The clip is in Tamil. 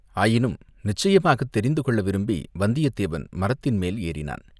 ஆயினும் நிச்சயமாகத் தெரிந்துகொள்ள விரும்பி வந்தியத்தேவன் மரத்தின் மேல் ஏறினான்.